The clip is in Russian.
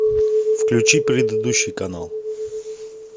включи предыдущий канал